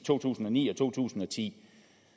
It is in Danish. to tusind og ni og to tusind og ti